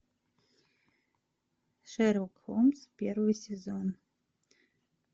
шерлок холмс первый сезон